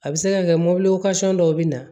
A bɛ se ka kɛ mɔbili dɔw bɛ na